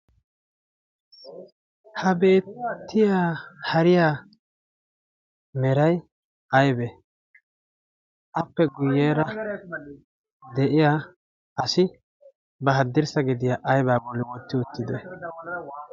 ha beettiyaa hariyaa meray aybee? appe guyyeera de'iyaa asi ba haddirssa gediyaa aybi bolli wotti uttidee?